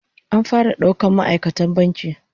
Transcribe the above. An fara daukan ma'aikatan bankin